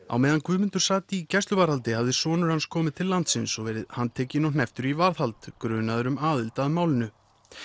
á meðan Guðmundur sat í gæsluvarðhaldi hafði sonur hans komið til landsins og verið handtekinn og hnepptur í varðhald grunaður um aðild að málinu